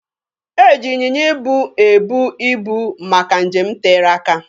E ji ịnyịnya ibu ebu ibu maka nje m tere aka.